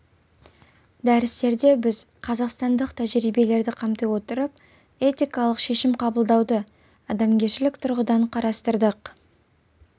дәрістерде біз қазақстандық тәжірибелерді қамти отырып этикалық шешім қабылдауды адамгершілік тұрғыдан қарастырдық